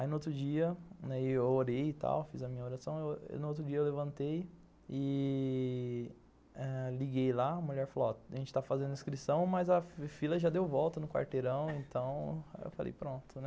Aí, no outro dia, né, eu orei e tal, fiz a minha oração, no outro dia eu levantei e liguei lá, a mulher falou, ó, a gente tá fazendo inscrição, mas a fila já deu volta no quarteirão, então eu falei, pronto, né?